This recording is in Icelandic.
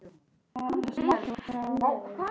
Þetta er alveg svakalegt sagði hann.